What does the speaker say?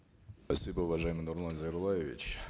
спасибо уважаемый нурлан зайроллаевич